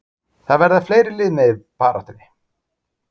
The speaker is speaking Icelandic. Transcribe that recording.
Það verða fleiri lið með í baráttunni.